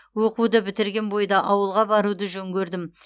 оқуды бітірген бойда ауылға баруды жөн көрдім